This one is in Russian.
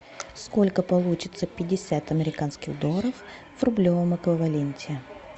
сколько получится пятьдесят американских долларов в рублевом эквиваленте